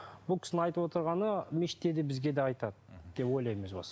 бұл кісінің айтып отырғаны мешітте де бізге де айтады деп ойлаймын өз басым